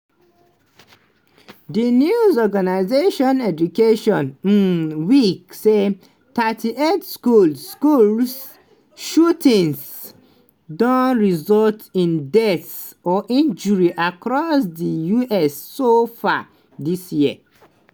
di news organisation education um week say 38 school school shootings don result in deaths or injuries across di us so far dis year.